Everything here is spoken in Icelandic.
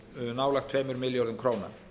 nálægt tveimur milljörðum króna